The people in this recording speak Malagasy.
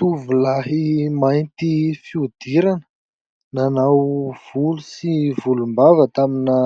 Tovolahy mainty fihodirana, nanao volo sy volombava tamina